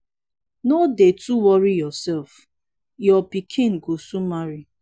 no dey too worry yourself. your pikin go soon marry.